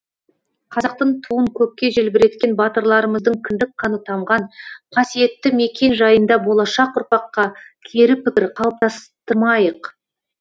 қазақтың туын көкке желбіреткен батырларымыздың кіндік қаны тамған қасиетті мекен жайында болашақ ұрпаққа кері пікір қалыптастырмайық